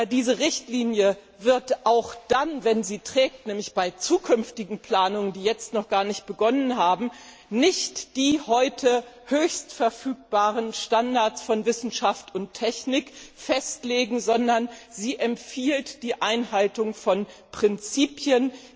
Diese Richtlinie wird auch dann, wenn sie trägt, nämlich bei zukünftigen Planungen, die jetzt noch gar nicht begonnen haben, nicht die heute höchst verfügbaren Standards von Wissenschaft und Technik festlegen, sondern sie empfiehlt die Einhaltung von Prinzipien.